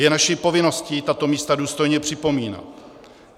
Je naší povinností tato místa důstojně připomínat.